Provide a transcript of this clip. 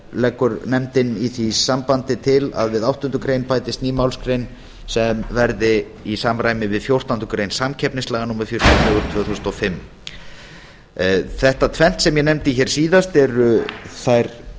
leggur nefndin í því sambandi til að við áttundu grein bætist ný málsgrein sem verði í samræmi við fjórtándu greinar samkeppnislaga númer fjörutíu og fjögur tvö þúsund og fimm þetta tvennt sem ég nefndi hér síðast eru þær